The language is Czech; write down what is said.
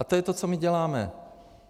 A to je to, co my děláme.